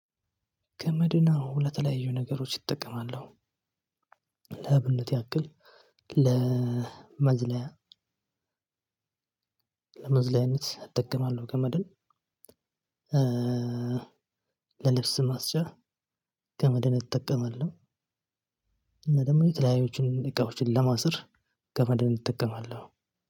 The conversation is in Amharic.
ገመድን አዎ ለተለያዩ ነገሮች እጠቀማሉ። ለአብነት ያክል ለመዝለያ። ለመዝለያነት እጠቀማለሁ ገመድን። ለልብስ ማስጫ ገመድን እጠቀማለሁ። እና ደግሞ የተለያዩ እቃዎችን ለማሰር ገመድን እጠቀማለሁ።